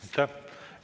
Aitäh!